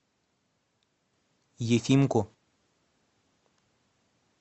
ефимку